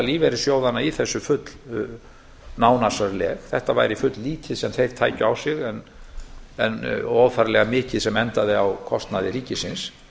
lífeyrissjóðanna í þessu fullnánasarleg það væri fulllítið sem þeir tækju á sig og óþarflega mikið sem endaði með kostnaði ríkisins